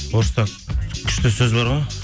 орыста күшті сөз бар ғой